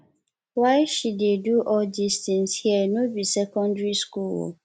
why she dey do all dis things here no be secondary school ooo